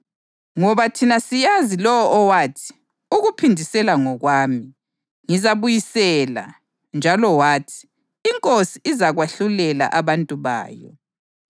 kodwa umlindelo owesabekayo wokwahlulelwa kuphela kanye lomlilo ovuthayo ozaqothula izitha zikaNkulunkulu.